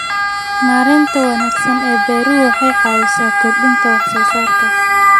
Maareynta wanaagsan ee beeruhu waxay caawisaa kordhinta wax soo saarka.